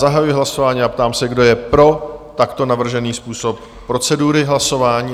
Zahajuji hlasování a ptám se, kdo je pro takto navržený způsob procedury hlasování?